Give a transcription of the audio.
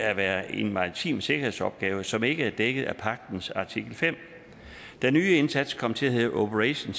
at være en maritim sikkerhedsopgave som ikke er dækket af pagtens artikel femte den nye indsats kom til at hedde operation